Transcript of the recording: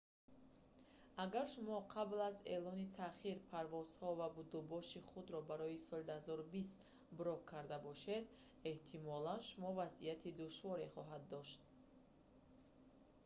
агар шумо қабл аз эълони таъхир парвозҳо ва будубоши худро барои соли 2020 брок карда бошед эҳтимолан шумо вазъияти душворе хоҳед дошт